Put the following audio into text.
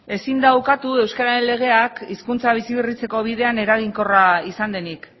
ezin da ukatu euskararen legeak hizkuntza bizi berritzeko bidean eraginkorra izan denik